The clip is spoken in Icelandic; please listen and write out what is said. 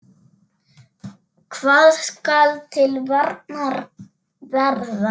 Hvað skal til varnar verða?